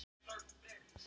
Og lifðu heil!